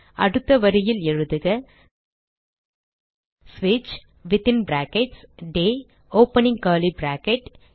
அடுத்த வரியில் எழுதுக ஸ்விட்ச் within brackets the opening curly bracket